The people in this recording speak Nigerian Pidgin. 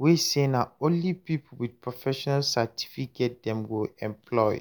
wey say na only people with professional certificate dem go employ